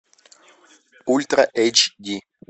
ультра эйч ди